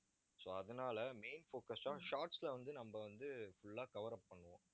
so அதனால main focus ஆ shorts ல வந்து, நம்ம வந்து, full ஆ cover up பண்ணுவோம்